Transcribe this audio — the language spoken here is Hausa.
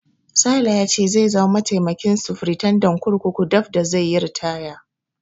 Sale ya ce zai zama mataimakin sufritandan kurkuku daf da zai yi ritaya.